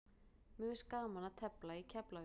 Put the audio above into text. Mér finnst gaman að tefla í Keflavík.